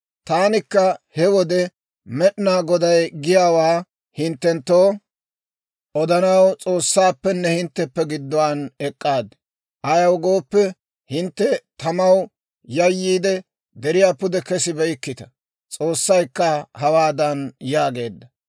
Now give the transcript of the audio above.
Taanikka he wode Med'inaa Goday giyaawaa hinttenttoo odanaw, S'oossaappenne hintteppe gidduwaan ek'k'aad; ayaw gooppe, hintte tamaw yayyiide, deriyaa pude kesibeykkita. S'oossaykka hawaadan yaageedda: